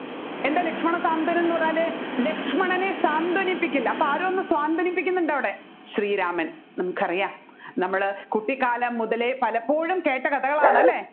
എന്താണ് ലക്ഷ്മണ സ്വാന്തനം എന്ന് പറഞ്ഞാൽ ലക്ഷ്മണനെ സ്വാന്തനിപ്പിക്കൽ അപ്പോ ആരോ ഒന്ന് സ്വാന്തനിപ്പിക്കുന്നുണ്ട് അവിടെ ശ്രീരാമൻ നമുക്കറിയാം നമ്മൾ കുട്ടികാലം മുതലെ പലപ്പോഴും കേട്ട കഥകളാണ് അല്ലെ